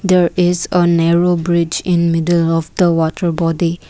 there is a narrow bridge in middle of the water body.